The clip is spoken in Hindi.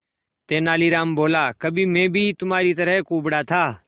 तेनालीराम बोला कभी मैं भी तुम्हारी तरह कुबड़ा था